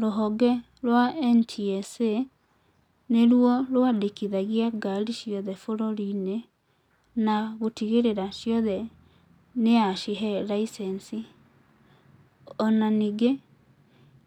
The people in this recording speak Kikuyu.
Rũhonge rwa NTSA nĩruo rwandĩkithagia ngari ciothe bũrũri-inĩ na gũtigĩrĩra ciothe nĩyacihe raicenci. Ona ningĩ